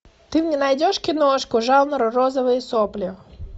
ты мне найдешь киношку жанр розовые сопли